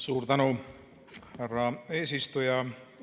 Suur tänu, härra eesistuja!